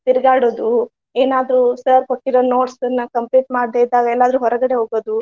ತಿರಗಾಡೋದು, ಎನಾದ್ರು sir ಕೊಟ್ಟಿರೊ notes ನ್ನ complete ಮಾಡದೆ ಇದ್ದಾಗ ಎಲ್ಲಾದ್ರು ಹೊರಗಡೆ ಹೋಗೋದು.